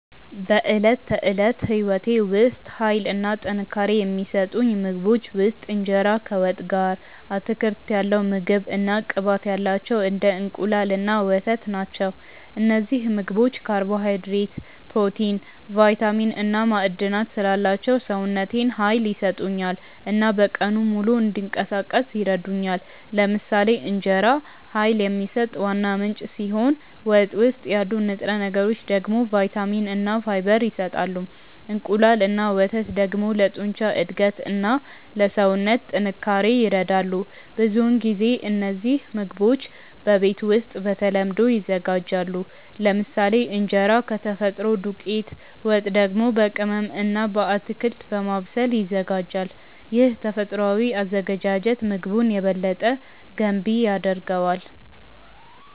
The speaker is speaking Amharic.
በዕለት ተዕለት ሕይወቴ ውስጥ ኃይል እና ጥንካሬ የሚሰጡኝ ምግቦች ውስጥ እንጀራ ከወጥ ጋር፣ አትክልት ያለው ምግብ እና ቅባት ያላቸው እንደ እንቁላል እና ወተት ናቸው። እነዚህ ምግቦች ካርቦሃይድሬት፣ ፕሮቲን፣ ቫይታሚን እና ማዕድናት ስላላቸው ሰውነቴን ኃይል ይሰጡኛል እና በቀኑ ሙሉ እንዲንቀሳቀስ ይረዱኛል። ለምሳሌ እንጀራ ኃይል የሚሰጥ ዋና ምንጭ ሲሆን ወጥ ውስጥ ያሉ ንጥረ ነገሮች ደግሞ ቫይታሚን እና ፋይበር ይሰጣሉ። እንቁላል እና ወተት ደግሞ ለጡንቻ እድገት እና ለሰውነት ጥንካሬ ይረዳሉ። ብዙውን ጊዜ እነዚህ ምግቦች በቤት ውስጥ በተለምዶ ይዘጋጃሉ፤ ለምሳሌ እንጀራ ከተፈጥሮ ዱቄት፣ ወጥ ደግሞ በቅመም እና በአትክልት በማብሰል ይዘጋጃል። ይህ ተፈጥሯዊ አዘገጃጀት ምግቡን የበለጠ ገንቢ ያደርገዋል።